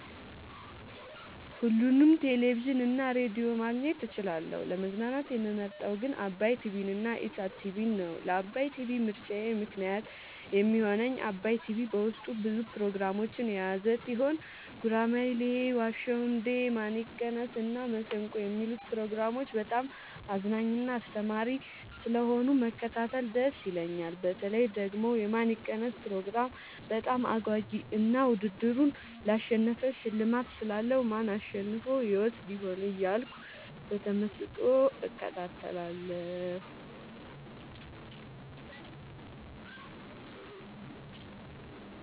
ሁሉንም ቴሌቪዥን እና ሬዲዮ ማግኘት እችላለሁ: : ለመዝናናት የምመርጠዉ ግን ዓባይ ቲቪንና ኢሣት ቲቪን ነዉ። ለዓባይ ቲቪ ምርጫየ ምክንያት የሚሆነኝ ዓባይ ቲቪ በዉስጡ ብዙ ፕሮግራሞችን የያዘ ቲሆን ጉራማይሌ የዋ ዉ እንዴ ማን ይቀነስ እና መሠንቆ የሚሉትን ፕሮግራሞች በጣም አዝናኝና አስተማሪ ስለሆኑ መከታተል ደስ ይለኛል። በተለይ ደግሞ የማን ይቀነስ ፕሮግራም በጣም አጓጊ እና ዉድድሩን ላሸነፈ ሽልማት ስላለዉ ማን አሸንፎ ይወስድ ይሆን እያልኩ በተመስጦ እከታተላለሁ።